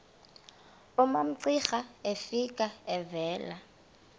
umamcira efika evela